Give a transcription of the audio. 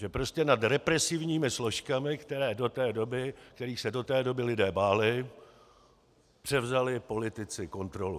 Že prostě nad represivními složkami, kterých se do té doby lidé báli, převzali politici kontrolu.